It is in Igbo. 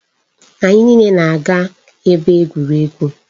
Anyị niile na-aga ebe egwuregwu.